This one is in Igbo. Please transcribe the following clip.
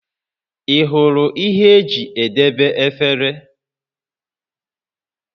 Ị hụrụ ihe eji edebe efere?